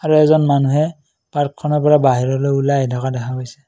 আৰু এজন মানুহে পাৰ্কখনৰ পৰা বাহিৰলৈ ওলাই আহি থকা দেখা গৈছে।